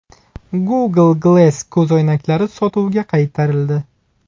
Google Glass ko‘zoynaklari sotuvga qaytarildi.